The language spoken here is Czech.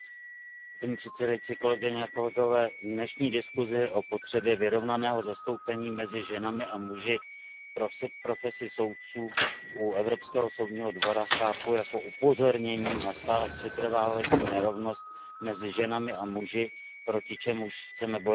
Paní předsedající, dnešní diskusi o potřebě vyrovnaného zastoupení mezi ženami a muži v profesi soudců u Evropského soudního dvora chápu jako upozornění na stále přetrvávající nerovnost mezi ženami a muži, proti čemuž chceme bojovat.